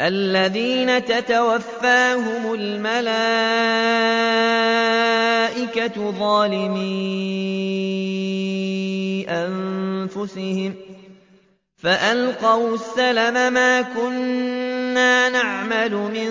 الَّذِينَ تَتَوَفَّاهُمُ الْمَلَائِكَةُ ظَالِمِي أَنفُسِهِمْ ۖ فَأَلْقَوُا السَّلَمَ مَا كُنَّا نَعْمَلُ مِن